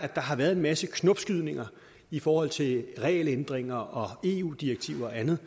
har været en masse knopskydninger i forhold til regelændringer eu direktiver og andet